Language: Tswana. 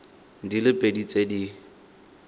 di le pedi tse di